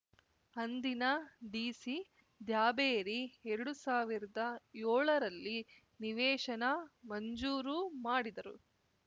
ಅಂದಿನ ಡಿಸಿ ದ್ಯಾಬೇರಿ ಎರಡು ಸಾವಿರದ ಯೋಳರಲ್ಲಿ ನಿವೇಶನ ಮಂಜೂರು ಮಾಡಿದರು